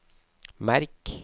merk